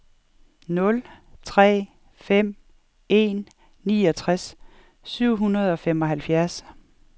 nul tre fem en niogtres syv hundrede og femoghalvfjerds